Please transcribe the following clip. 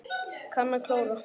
Kann að klóra.